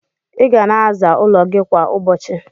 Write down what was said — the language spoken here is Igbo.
Iga na aza ụlọ gi kwa ụbọchi